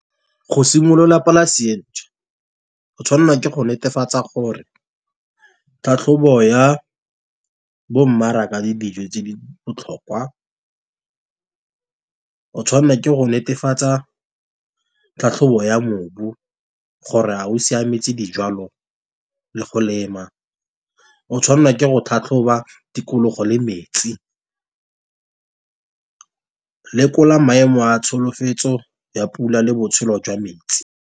Go simolola polase e ntšhwa go tshwanela ke go netefatsa gore, tlhatlhobo ya bo mmaraka di dijo tse di botlhokwa. O tshwanela ke go netefatsa tlhatlhobo ya mobu gore a o siametse dijwalo, le go lema, o tshwanelwa ke go tlhatlhoba tikologo le metsi. Lekola maemo a tsholofetso ya pula le botshelo jwa metsi.